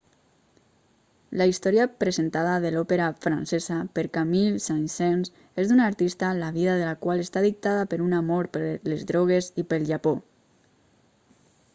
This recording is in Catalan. la història presentada a l'òpera francesa per camille saint-saens és d'una artista la vida de la qual està dictada per un amor per les drogues i pel japó